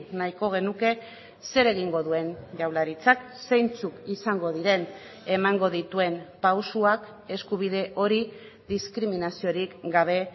nahiko genuke zer egingo duen jaurlaritzak zeintzuk izango diren emango dituen pausuak eskubide hori diskriminaziorik gabe